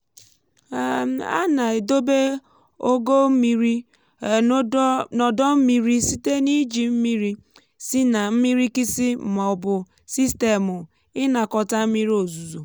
um a na-edobe ogo mmiri um n’odọ mmiri site n’iji mmiri si n’mmirikisi ma ọ bụ sistemụ ịnakọta mmiri ozuzo